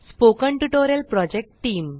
spoken tutorial project team